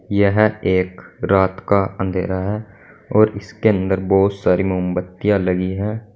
यह एक रात का अंधेरा है और इसके अंदर बोहोत सारी मामबत्तियां लगी हैं।